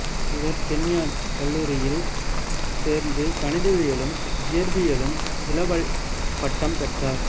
இவர் கென்யான் கல்லூரியில் சேர்ந்து கணிதவியலிலும் இயற்பியலிலும் இளவல் பட்டம் பெற்றார்